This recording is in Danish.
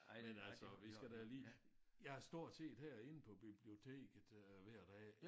Ej men altså vi skal da lige jeg er stort set herinde på biblioteket øh hver dag